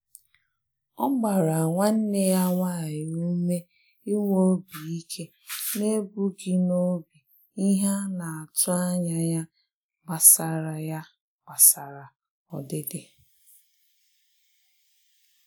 Ọ gbara nwanne ya nwanyị ume inwe obi ike n'ebughị n'obi ihe a na-atụ anya ya gbasara ya gbasara ọdịdị.